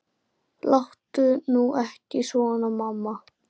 Láttu nú ekki svona mamma.